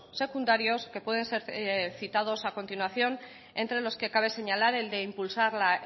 secundarios que pueden ser citados a continuación entre los que cabe señalar el de impulsar la